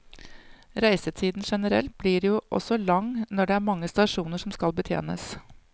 Reisetiden generelt blir jo også lang når det er mange stasjoner som skal betjenes.